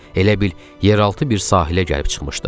Elə bil yeraltı bir sahilə gəlib çıxmışdıq.